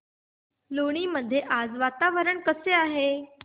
लोणी मध्ये आज वातावरण कसे आहे